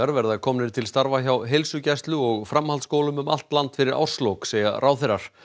verða komnir til starfa hjá heilsugæslu og framhaldsskólum um allt land fyrir árslok segja ráðherrar